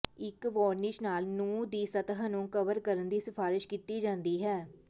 ਇੱਕ ਵਾਰਨੀਸ਼ ਨਾਲ ਨਹੁੰ ਦੀ ਸਤਹ ਨੂੰ ਕਵਰ ਕਰਨ ਦੀ ਸਿਫਾਰਸ਼ ਕੀਤੀ ਜਾਂਦੀ ਹੈ